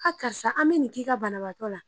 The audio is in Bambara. A karisa an bɛ nin k'i ka banabagatɔ la